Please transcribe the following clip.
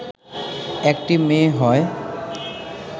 একটি মেয়ে হয়